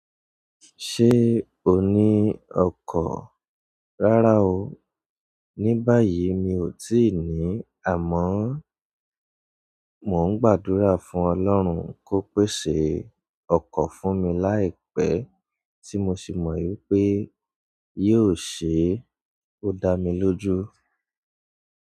Ṣé o ní ọkọ̀? Rárá ooo, ní báyìí mi ò tíì ní, àmọ́ mo ń gbàdúrà fún Ọlọ́run kó pèsè ọkọ̀ fún mi láìpẹ́ tí mo sì mọ̀ wípé yóò ṣe é o dá mi lójú.